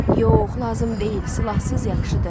Yox, lazım deyil, silahsız yaxşıdır.